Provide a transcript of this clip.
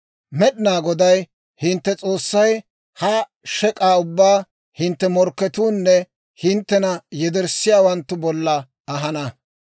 Med'inaa Goday hintte S'oossay ha shek'aa ubbaa hintte morkketuunne hinttena yederssiyaawanttu bolla ahana.